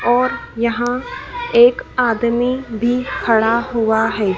और यहाँ एक आदमी भी खड़ा हुआ है।